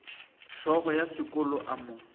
hlogo ya sekolo a mo